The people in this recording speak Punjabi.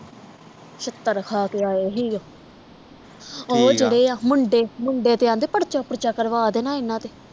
ਛਿੱਤਰ ਖਾ ਕੇ ਆਏ ਸੀ ਓਹ ਠੀਕ ਆ ਓਹ ਜਿਹੜੇ ਆ ਮੁੰਡ ਮੁੰਡੇ ਤੇ ਆਂਦੇ ਪਰਚਾ ਪੁਰਚਾ ਕਰਵਾ ਦੇਣ ਇਹਨਾਂ ਤੇ